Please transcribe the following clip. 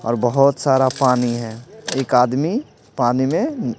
और बहुत सारा पानी है एक आदमी पानी में--